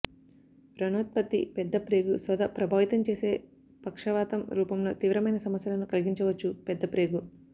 వ్రణోత్పత్తి పెద్దప్రేగు శోథ ప్రభావితం చేసే పక్షవాతం రూపంలో తీవ్రమైన సమస్యలను కలిగించవచ్చు పెద్ద ప్రేగు